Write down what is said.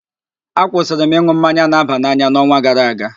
Akwụsịrị m ịn̄ụ mmanya na-aba n'anya n'ọnwa gara aga